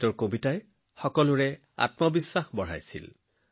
তেওঁৰ কবিতাবোৰে মানুহক সজাগতা আৰু আত্মবিশ্বাসেৰে ভৰাই তুলিছিল